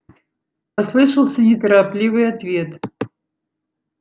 послышался неторопливый ответ